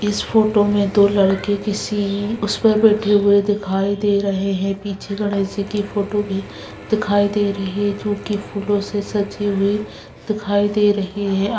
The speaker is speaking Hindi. इस फोटो में दो लड़कों के सीन उस पर बैठे हुए दिखाई दे रहे हैं पीछे गणेश जी की फोटो भी दिखाई दे रही है जो की फूलों से सजी हुई दिखाई दे रही है।